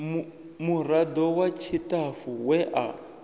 murado wa tshitafu we a